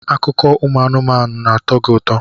Akụkọ ụmụ anụmanụ na-atọ gị ụtọ?